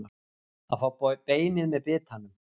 Að fá beinið með bitanum